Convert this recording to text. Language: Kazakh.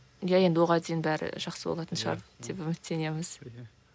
иә енді оған дейін бәрі жақсы болатын шығар деп үміттенеміз